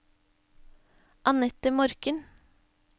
Anette Morken